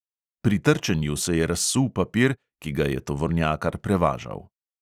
Pri trčenju se je razsul papir, ki ga je tovornjakar prevažal.